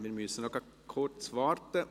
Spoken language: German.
Wir müssen noch kurz warten.